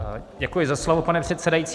Děkuji za slovo, pane předsedající.